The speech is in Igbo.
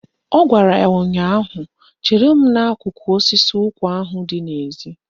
Ọ gwara ya ụnyaahụ "Chere m n'akụkụ osisi ụkwa ahụ dị n'ezi!